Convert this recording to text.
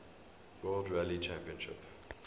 world rally championship